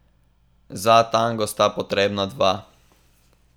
Za tango sta potrebna dva.